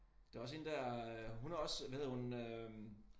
Der også hende der øh hun er også hvad hedder hun øh